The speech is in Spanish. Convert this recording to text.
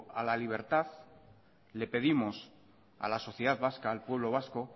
a la libertad le pedimos a la sociedad vasca al pueblo vasco